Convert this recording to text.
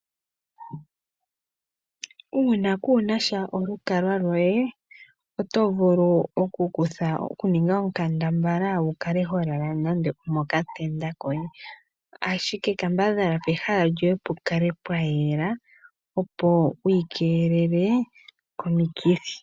Uuna kuunasha olukalwa loye oto vulu oku kutha okuninga okambadhala wu kale ho lala nando omokatenda koye, ashike kambadhala pehala lyoye pu kale pwa yela opo wu ikeelele komikithi.